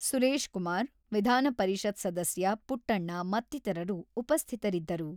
ಸುರೇಶ್ ಕುಮಾರ್, ವಿಧಾನಪರಿಷತ್ ಸದಸ್ಯ ಪುಟ್ಟಣ್ಣ ಮತ್ತಿತರರು ಉಪಸ್ಥಿತರಿದ್ದರು.